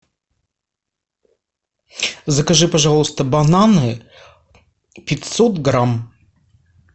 закажи пожалуйста бананы пятьсот грамм